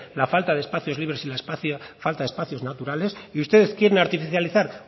la falta de espacios libres y la falta de espacios naturales y ustedes quieren artificializar